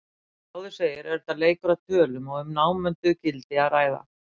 Eins og áður segir er þetta leikur að tölum og um námunduð gildi að ræða.